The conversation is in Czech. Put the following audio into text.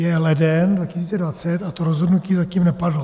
Je leden 2020 a to rozhodnutí zatím nepadlo.